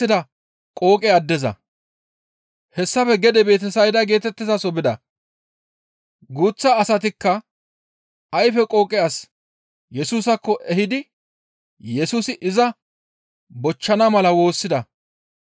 Hessafe gede Betesayda geetettizaso bida; guuththa asatikka ayfe qooqe as Yesusaakko ehidi Yesusi iza bochchana mala woossida.